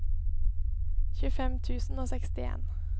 tjuefem tusen og sekstien